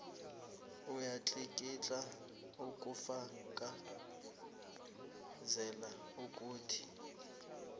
uyatlikitla ukufakazela ukuthi